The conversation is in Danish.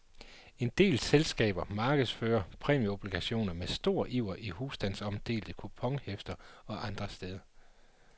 En del selskaber markedsfører præmieobligationer med stor iver i husstandsomdelte kuponhæfter og andre steder.